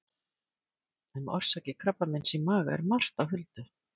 Um orsakir krabbameins í maga er margt á huldu.